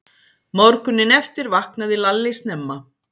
Morguninn eftir vaknaði Lalli snemma.